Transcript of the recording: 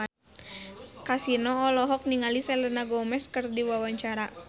Kasino olohok ningali Selena Gomez keur diwawancara